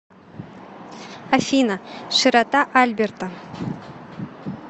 афина широта альберта